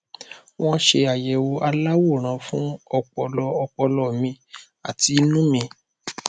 wọn ṣe àyẹwò aláwòrán fún ọpọlọ ọpọlọ mi àti inú mi